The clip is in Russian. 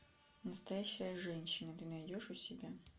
настоящая женщина ты найдешь у себя